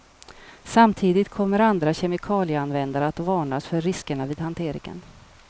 Samtidigt kommer andra kemikalieanvändare att varnas för riskerna vid hanteringen.